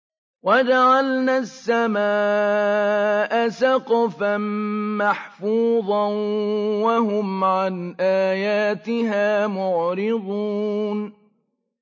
وَجَعَلْنَا السَّمَاءَ سَقْفًا مَّحْفُوظًا ۖ وَهُمْ عَنْ آيَاتِهَا مُعْرِضُونَ